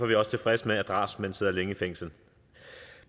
vi også tilfredse med at drabsmænd sidder længe i fængsel